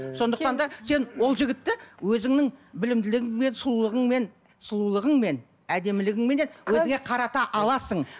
сондықтан да сен ол жігітті өзіңнің білімділігіңмен сұлулығыңмен сұлулығыңмен әдемілігіңменен өзіңе қарата аласың